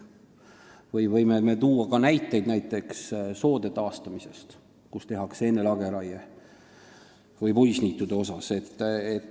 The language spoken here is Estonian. Võime tuua ka näiteid soode taastamise kohta, kus enne tehakse lageraie, või puisniitude kohta.